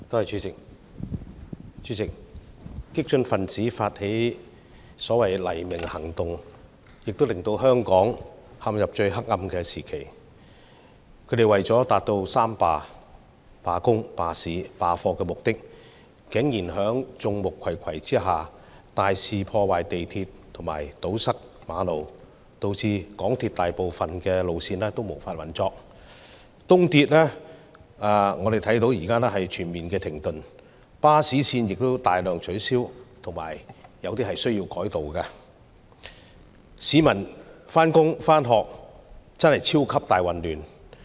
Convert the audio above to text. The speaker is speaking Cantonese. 主席，激進分子發起的所謂"黎明行動"，令香港陷入最黑暗的時期，他們為了達到"三罷"，即是罷工、罷市和罷課的目的，竟然在眾目睽睽之下大肆破壞港鐵及堵塞馬路，導致港鐵大部分路線無法運作，東鐵現在全面停頓，巴士線也大量取消或改道，市民上班和上課超級大混亂。